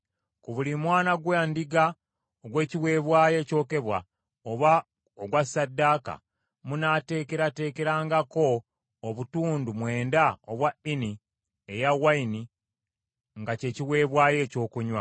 Ku buli mwana gwa ndiga ogw’ekiweebwayo ekyokebwa oba ogwa ssaddaaka, munaateekerateekerangako obutundu mwenda obwa Ini ey’envinnyo nga kye kiweebwayo ekyokunywa.